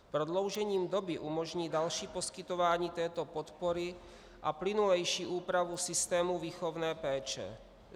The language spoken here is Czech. Prodloužením doby umožní další poskytování této podpory a plynulejší úpravu systému výchovné péče.